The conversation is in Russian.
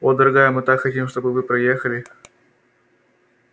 о дорогая мы так хотим чтобы вы приехали